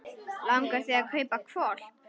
Langar þig að kaupa hvolp?